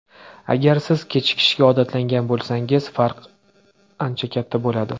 Agar siz kechikishga odatlangan bo‘lsangiz, farqi ancha katta bo‘ladi.